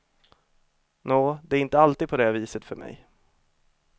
Nå, det är inte alltid på det viset för mig.